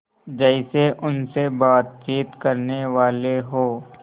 जैसे उनसे बातचीत करनेवाले हों